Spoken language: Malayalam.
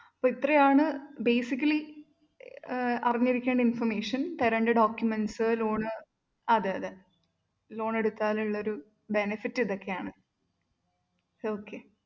അപ്പൊ ഇത്രേയാണ് basically ഏർ അറിഞ്ഞിരിക്കേണ്ട information തരണ്ട documents loan അതെ അതെ loan എടുത്താലുള്ളോരു benefit ഇതൊക്കെയാണ് its okay